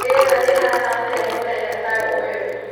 rĩera rĩhana atĩa mũthenya ta ũyũ